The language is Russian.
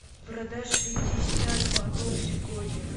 продать шестьдесят батов сегодня